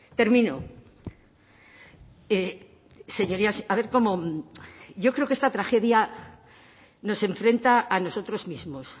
termino señorías a ver cómo yo creo que esta tragedia nos enfrenta a nosotros mismos